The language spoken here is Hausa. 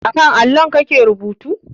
A kan allon kake rubuta?